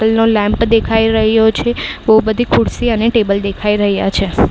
તેલ નો લેમ્પ દેખાઈ રહ્યો છે બઉ બધી ખુરસી અને ટેબલ દેખાઈ રહ્યાં છે.